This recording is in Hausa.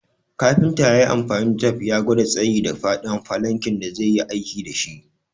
Kafinta yayi amfani da tep ya gwada tsayi da faɗin falankin da zai yi aiki dashi